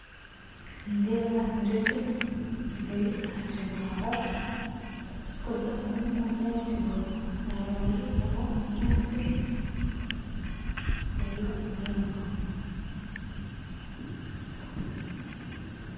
Nindeeba enjoki ziri aha kibaho zikuza omwo omunda y'ekibaho aharubaju hariho ebinyaatsi hariyo omwirima